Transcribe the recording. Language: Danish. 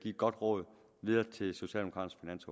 et godt råd videre til socialdemokraternes